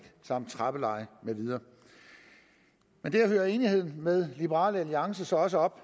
trappeleje med videre men der hører enigheden med liberal alliance så også op